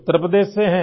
उत्तर प्रदेश से हैं